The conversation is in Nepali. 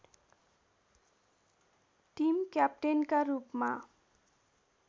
टिम क्यापटेनका रूपमा